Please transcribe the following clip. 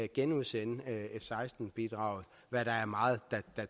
genudsende f seksten bidraget hvad meget